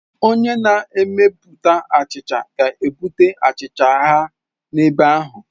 Onye na-emepụta achicha ga-ebute achicha ha n'ebe ahụ.